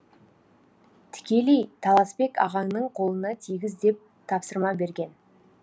тікелей таласбек ағаңның қолына тигіз деп тапсырма берген